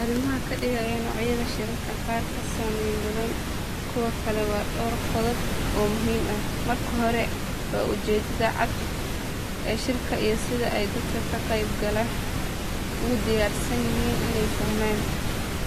Arrimaha ka dhigaya noocyada shirarka qaar ka saameyn badan kuwa kale waa dhowr qodob oo muhiim ah. Marka hore waa ujeeddada cad ee shirka iyo sida ay dadka ka qaybgalaya ugu diyaarsan yihiin inay fahmaan,